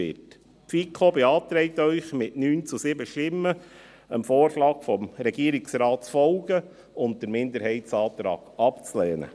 Die FiKo beantragt Ihnen mit 9 zu 7 Stimmen, dem Vorschlag des Regierungsrates zu folgen und den Minderheitsantrag abzulehnen.